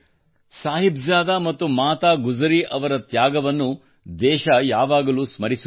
ಸಾಹಿಬ್ ಜಾದಾ ಮತ್ತು ಮಾತಾ ಗುಜರಿ ಅವರ ತ್ಯಾಗವನ್ನು ದೇಶವು ಯಾವಾಗಲೂ ಸ್ಮರಿಸುತ್ತದೆ